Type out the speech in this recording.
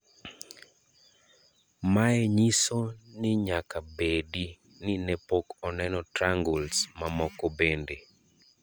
Mae nyiso ninyaka bedi ni nee pok oneno triangles mamoko bende.